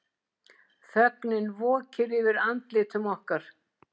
Þögnin vokir yfir andlitum okkar.